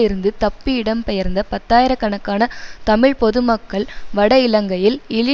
இருந்து தப்பி இடம்பெயர்ந்த பத்தாயிர கணக்கான தமிழ் பொது மக்கள் வட இலங்கையில் இழி